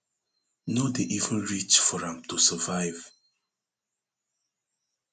no dey even reach for am to survive